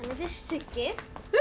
fyrst Siggi